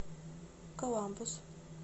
коламбус